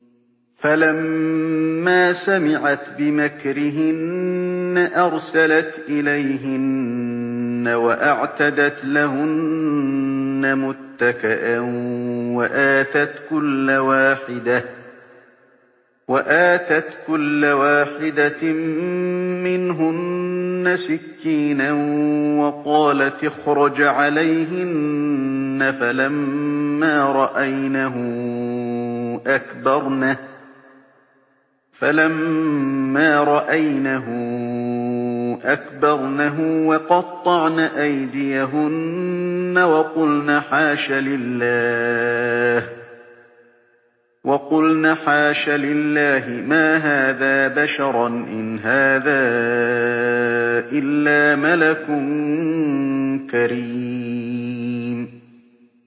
فَلَمَّا سَمِعَتْ بِمَكْرِهِنَّ أَرْسَلَتْ إِلَيْهِنَّ وَأَعْتَدَتْ لَهُنَّ مُتَّكَأً وَآتَتْ كُلَّ وَاحِدَةٍ مِّنْهُنَّ سِكِّينًا وَقَالَتِ اخْرُجْ عَلَيْهِنَّ ۖ فَلَمَّا رَأَيْنَهُ أَكْبَرْنَهُ وَقَطَّعْنَ أَيْدِيَهُنَّ وَقُلْنَ حَاشَ لِلَّهِ مَا هَٰذَا بَشَرًا إِنْ هَٰذَا إِلَّا مَلَكٌ كَرِيمٌ